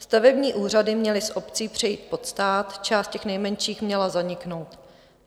Stavební úřady měly z obcí přejít pod stát, část těch nejmenších měla zaniknout.